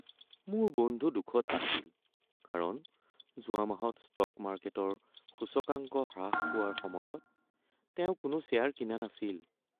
মোৰ বন্ধু দুখত আছিল কাৰণ যোৱা মাহত ষ্টক মাৰ্কেটৰ সূচকাংক হ্ৰাস পোৱাৰ সময়ত তেওঁ কোনো শ্বেয়াৰ কিনা নাছিল।